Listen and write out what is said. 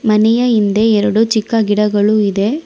ಮನೆಯ ಹಿಂದೆ ಎರಡು ಚಿಕ್ಕ ಗಿಡಗಳು ಇದೆ.